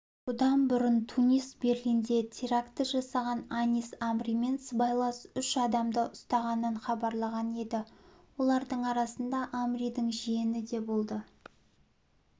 бұдан бұрын тунис берлинде теракті жасаған анис амримен сыбайлас үш адамды ұстағанын хабарлаған еді олардың арасында амридің жиені де болды